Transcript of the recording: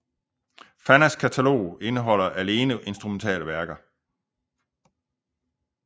Fannas katalog indeholder alene instrumentale værker